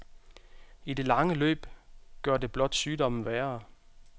I det lange løb gør det blot sygdommen værre.